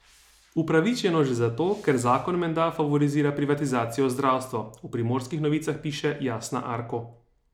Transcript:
Upravičeno že zato, ker zakon menda favorizira privatizacijo zdravstva, v Primorskih novicah piše Jasna Arko.